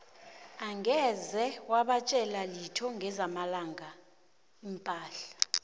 angeze wabatjela litho ngezamalanga la iimpahla